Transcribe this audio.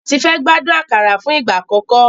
Tife gbádùn àkàrà fún ìgbà àkọ́kọ́.